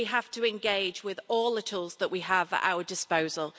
We have to engage with all the tools that we have at our disposal.